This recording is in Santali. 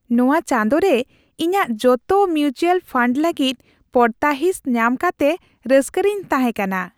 ᱱᱚᱶᱟ ᱪᱟᱸᱫᱳ ᱨᱮ ᱤᱧᱟᱹᱜ ᱡᱚᱛᱚ ᱢᱤᱭᱩᱪᱩᱣᱟᱞ ᱯᱷᱟᱱᱰ ᱞᱟᱹᱜᱤᱫ ᱯᱚᱲᱛᱟᱦᱤᱸᱥ ᱧᱟᱢ ᱠᱟᱛᱮ ᱨᱟᱹᱥᱠᱟᱹ ᱨᱮᱧ ᱛᱦᱟᱮᱸ ᱠᱟᱱᱟ ᱾